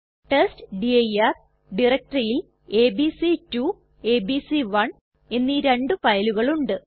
test dir ഡയറക്ടറിയിൽ ABC two ABC one എന്നീ രണ്ടു ഫയലുകൾ ഉണ്ട്